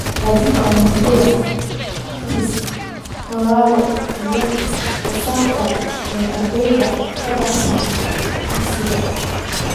Hagaajinta natiijada akhris-qoraalka iyo xisaabinta ee ardayda ka baxsan dugsiga.